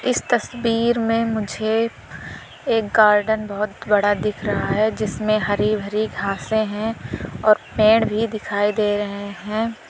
इस तस्वीर में मुझे एक गार्डन बहोत बड़ा दिख रहा है जिसमें हरी भरी घासे है और पेड़ भी दिखाई दे रहे है।